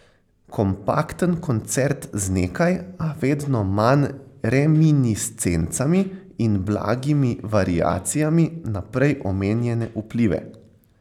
Kompakten koncert z nekaj, a vedno manj reminiscencami in blagimi variacijami na prej omenjene vplive.